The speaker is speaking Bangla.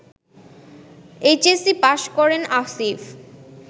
এইচএসসি পাস করেন আসিফ